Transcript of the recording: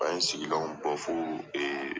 An ye sigilan bɔ fo